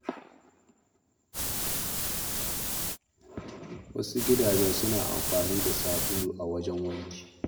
Wasu gidajen suna amfani da sabulu a wajen wanki.